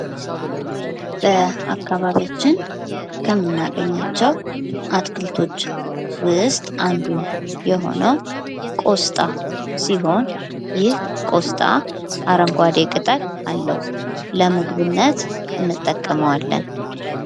በአካባቢያችን ከምናገኛቸዉ አትክልቶች ዉስጥ አንዱ የሆነዉ ቆስጣ ሲሆን ይህ ቆስጣ አረንጓዴ ቅጠል አለዉ። ለምግብነት እንጠቀመዋለን።